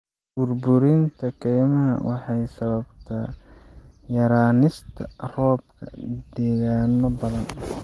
Burburinta kaymaha waxay sababtaa yaraanista roobka deegaanno badan.